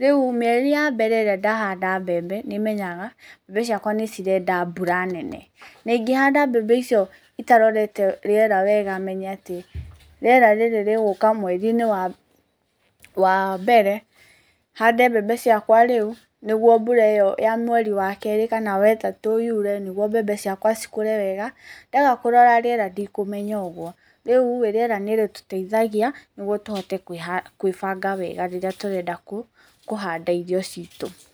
Rĩu mĩeri ya mbere ĩrĩa ndahanda mbembe, nĩ menyaga mbembe ciakwa nĩ cirenda mbura nene na ingĩhanda mbembe icio itarorete rĩera wega menye atĩ rĩera rĩrĩ rĩgũka mweri-inĩ wa mbere hande mbembe ciakwa rĩu nĩguo mbura ĩyo ya mweri wa kerĩ kana wetatu yuure nĩguo mbembe ciakwa cikũre wega ndaga kũrora rĩera ndikumenya ũguo. Rĩurĩ rera nĩrĩtuteithagia nĩgũo tũhote kwĩbanga wega rĩrĩa tũrenda kũhanda irio citũ.